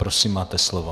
Prosím, máte slovo.